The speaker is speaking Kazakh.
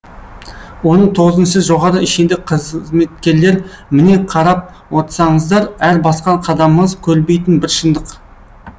оның тоғызыншы жоғары шенді қызметкерлер міне қарап отсаңыздар әр басқан қадамыңыз көрінбейтін бір шындық